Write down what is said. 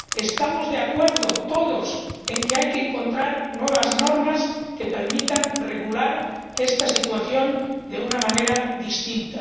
Estamos de acuerdo todos en que hay que encontrar nuevas normas que permitan regular esta situación de una manera distinta.